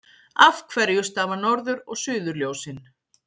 Af hverju stafa norður- og suðurljósin?